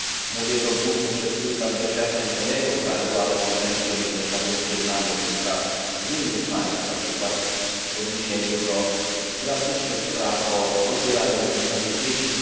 Mówię to głównie przez pryzmat doświadczeń z mojego kraju, ale po części również na gruncie znanych mi spraw z innych państw, na przykład w odniesieniu do drastycznych spraw dotyczących odbierania rodzicom dzieci.